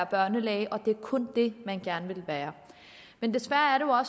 børnelæge og at det kun er det man gerne vil være men desværre er